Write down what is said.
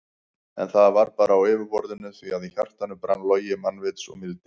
En það var bara á yfirborðinu því að í hjartanu brann logi mannvits og mildi.